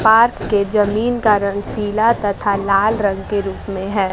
पार्थ के जमीन का रंग पीला तथा लाल रंग के रूप में है।